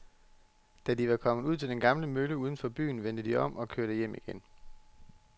Da de var kommet ud til den gamle mølle uden for byen, vendte de om og kørte hjem igen.